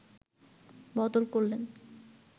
বদল করলেন